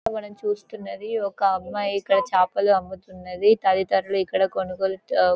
ఇక్కడ మనం చూస్తున్నది ఒక అమ్మాయి ఇక్కడ చేపలు అమ్ముతున్నది తల్లి తండ్రులు ఇక్కడ కొనుగోలు తో--